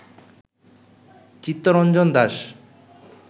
Chittaranjan Das